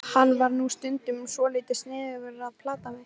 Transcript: Hann var nú stundum svolítið sniðugur að plata mig.